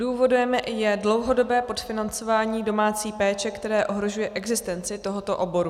Důvodem je dlouhodobé podfinancování domácí péče, které ohrožuje existenci tohoto oboru.